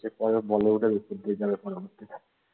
এরপরে বলিউডের